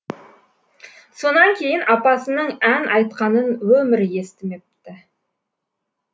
сонан кейін апасының ән айтқанын өмірі естімепті